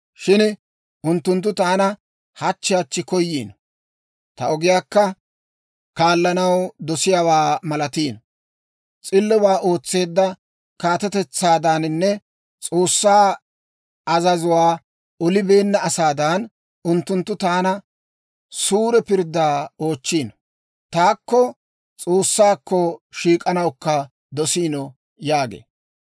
Shin unttunttu taana hachchi hachchi koyiino; ta ogiyaakka kaallanaw dosiyaawaa malatiino. S'illobaa ootseedda kaatetetsaadaaninne S'oossaa azazuwaa olibeenna asaadan, unttunttu taana suure pirddaa oochchiino; taakko S'oossaakko shiik'anawukka dosiino» yaagee.